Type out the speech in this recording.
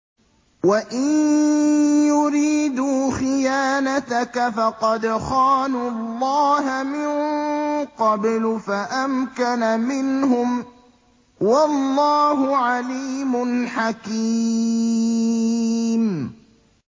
وَإِن يُرِيدُوا خِيَانَتَكَ فَقَدْ خَانُوا اللَّهَ مِن قَبْلُ فَأَمْكَنَ مِنْهُمْ ۗ وَاللَّهُ عَلِيمٌ حَكِيمٌ